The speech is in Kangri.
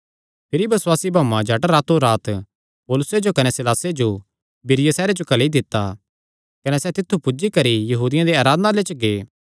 भिरी बसुआसी भाऊआं झट रातोंरात पौलुसे जो कने सीलासे जो बिरीया सैहरे जो घल्ली दित्ता कने सैह़ तित्थु पुज्जी करी यहूदियां दे आराधनालय च गै